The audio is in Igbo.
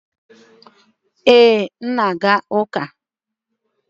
ee, m na-aga uka